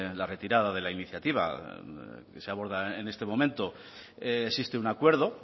la retirada de la iniciativa que se aborda en este momento existe un acuerdo